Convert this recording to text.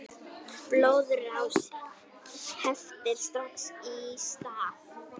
Blóðrás heftir strax í stað.